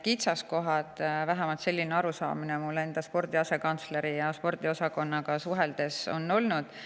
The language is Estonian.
Vähemalt on mul spordi asekantsleri ja spordiosakonnaga suheldes selline arusaam olnud.